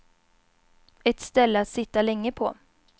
Ett ställe att sitta länge på.